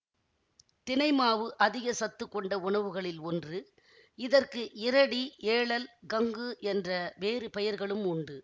தினை மாவு அதிக சத்து கொண்ட உணவுகளில் ஒன்று இதற்கு இறடி ஏளல் கங்கு என்ற வேறு பெயர்களும் உண்டு